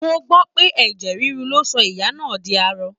Mo gbọ́ pé ẹ̀jẹ̀ ríru ló sọ ìyá náà di arọ